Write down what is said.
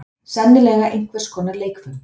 Sennilega einhvers konar leikföng.